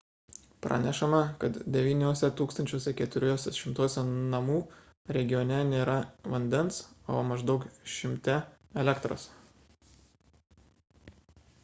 pranešama kad 9 400 namų regione nėra vandens o maždaug 100 – elektros